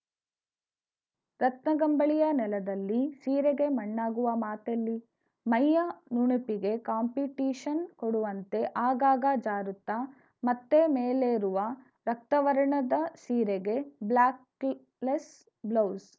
ರತ್ನಗಂಬಳಿಯ ನೆಲದಲ್ಲಿ ಸೀರೆಗೆ ಮಣ್ಣಾಗುವ ಮಾತೆಲ್ಲಿ ಮೈಯ ನುಣುಪಿಗೆ ಕಾಂಪಿಟೀಶನ್‌ ಕೊಡುವಂತೆ ಆಗಾಗ ಜಾರುತ್ತಾ ಮತ್ತೆ ಮೇಲೇರುವ ರಕ್ತವರ್ಣದ ಸೀರೆಗೆ ಬ್ಲಾಕ್‌ಲೆಸ್‌ ಬ್ಲೌಸ್‌